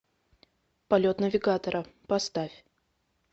полет навигатора поставь